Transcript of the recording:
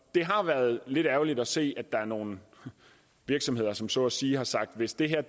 har været lidt ærgerligt at se at der er nogle virksomheder som så at sige har sagt hvis det her